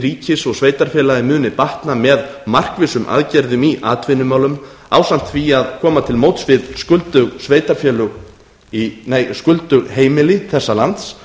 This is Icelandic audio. ríkis og sveitarfélaga muni batna með markvissum aðgerðum í atvinnumálum ásamt því að koma til móts við skuldug heimili þessa lands